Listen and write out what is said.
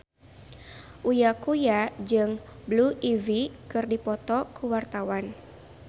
Uya Kuya jeung Blue Ivy keur dipoto ku wartawan